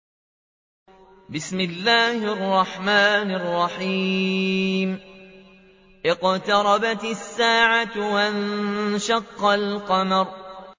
اقْتَرَبَتِ السَّاعَةُ وَانشَقَّ الْقَمَرُ